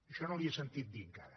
això no li ho he sentit dir encara